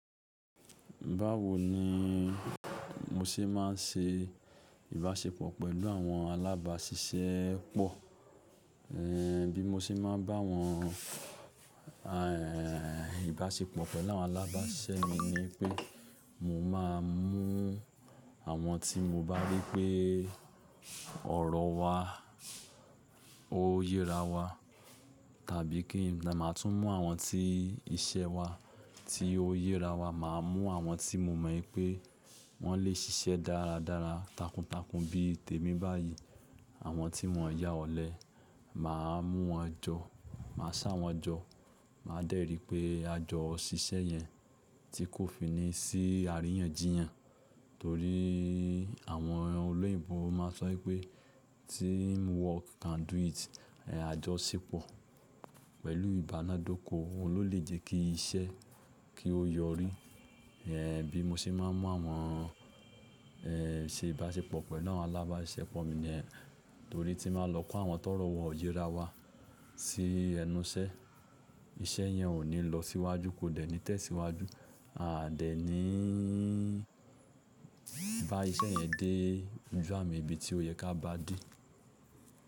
Báwo ni mo ṣe máa ń ṣe ìbáṣepọ̀ pẹ̀lú àwọn alábáṣiṣẹ́ pọ̀? Bí mo ṣe máa ń bá wọn, ìbáṣepọ̀ pẹ̀lú àwọn alábáṣiṣẹ́ mi ni pé mo máa ń mú àwọn tí mo bá rí pé ọ̀rọ̀ wa, ó yẹra wa, tàbí kí n máa tún mú àwọn tí iṣẹ́ wa tí ó yẹra wa, màá mú àwọn tí mo mọ̀ pé wọ́n lè ṣiṣẹ́ dáradára takuntakun bí i tèmi báyìí, àwọn tí wọn yá ọ̀lẹ, màá mú wọn jọ, màá ṣá wọn jọ, màá dẹ́rì pé àjọ ṣiṣẹ́ yẹn tí kò fini sí àríyànjiyàn. Nítorí àwọn olóyìnbo máa sọ pé team work can do it. Àjọṣepọ̀ pẹ̀lú ìbánádókò ló lè jẹ́ kí iṣẹ́ kí ó yọrí. Bí mo ṣe máa ń mú àwọn ṣe ìbáṣepọ̀ pẹ̀lú àwọn alábáṣiṣẹ́ pọ̀ mi ni torí tí màá lọ kó àwọn tó rọ̀ wọ yẹra wa sí ẹnu iṣẹ́, iṣẹ́ yẹn ò ní lọ síwájú, kò dẹ̀ ní tẹ̀síwájú, a dẹ̀ ní bá iṣẹ́ yẹn dé ojú à mi íbi tí ó yẹ ká bá dé.